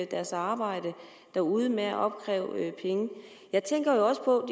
deres arbejde derude med at opkræve penge jeg tænker også på